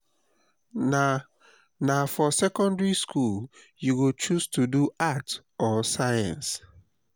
na na for secondary skool you go choose to do arts or science.